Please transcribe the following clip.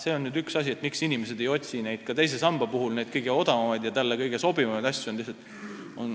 See on ka üks põhjus, miks inimesed ei otsi teise samba puhul kõige odavamaid ja neile sobivamaid.